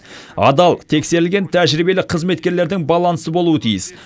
адал тексерілген тәжірибелі қызметкерлердің балансы болуы тиіс